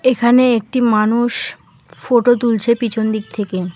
এখানে একটি মানুষ ফোটো তুলছে পিছন দিক থেকে।